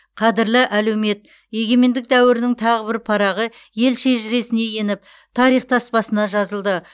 қадірлі әлеумет егемендік дәуірінің тағы бір парағы ел шежіресіне еніп тарих таспасына жазылды